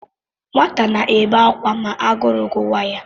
Nwata na-ebe ákwà ma agụrụ gụwa ya.